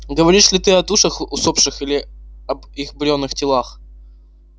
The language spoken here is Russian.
говоришь ли ты о душах усопших или об их бренных телах